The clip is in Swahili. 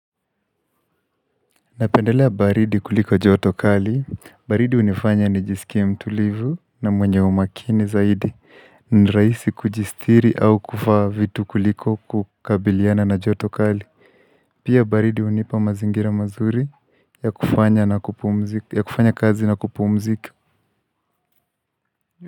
Napendelea baridi kuliko joto kali, baridi unifanya njisikie mtulivu na mwenye umakini zaidi ni raisi kujisitiri au kuvaa vitu kuliko kukabiliana na joto kali Pia baridi unipa mazingira mazuri ya kufanya kazi na kupumziki.